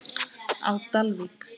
á Dalvík.